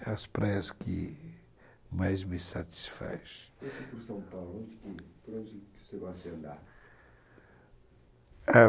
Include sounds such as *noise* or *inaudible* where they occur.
É as praias que mais me satisfaz. *unintelligible*